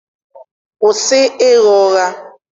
kwụsị ịgha ụgha!